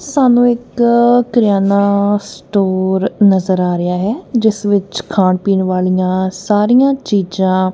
ਸਾਨੂੰ ਇੱਕ ਕਰਿਆਨਾ ਸਟੋਰ ਨਜ਼ਰ ਆ ਰਿਹਾ ਹੈ ਜਿਸ ਵਿੱਚ ਖਾਣ ਪੀਣ ਵਾਲੀਆਂ ਸਾਰੀਆਂ ਚੀਜ਼ਾਂ--